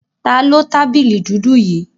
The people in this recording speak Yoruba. Taló tábìlì dúdú yí